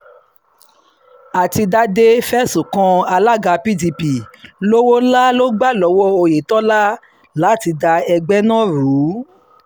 àtidàdé fẹ̀sùn kan alága pdp lọ́wọ́ ńlá ló gbà lọ́wọ́ oyetola láti da ẹgbẹ́ náà rú